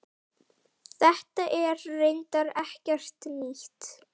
Þetta er reyndar ekkert nýtt.